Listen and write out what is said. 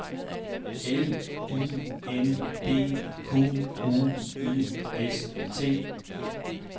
L I N D Q U I S T